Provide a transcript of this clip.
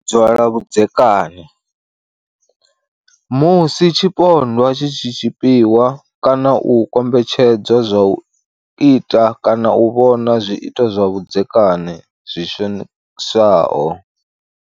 Dzwa lwa vhudzeka ni. Musi tshipondwa tshi tshi tshipiwa kana u kombetshed zwa u ita kana u vhona zwiito zwa vhudzekani zwi shonisaho